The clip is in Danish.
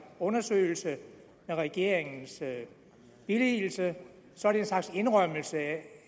undersøgelse med regeringens billigelse så er en slags indrømmelse af